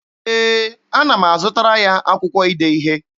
Ee, ana m azụtara ya akwụkwọ ide ihe.